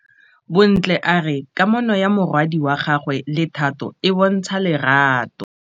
Bontle a re kamanô ya morwadi wa gagwe le Thato e bontsha lerato.